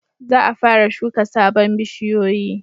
Za a fara shuka sabon bishiyoyi